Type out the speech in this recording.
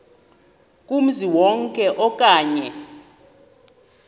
kumzi wonke okanye